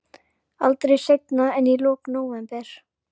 Aldrei seinna en í lok nóvember.